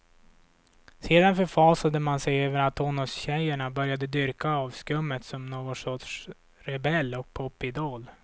Sedan förfasade man sig över att tonårstjejerna började dyrka avskummet som någon sorts rebell och popidol.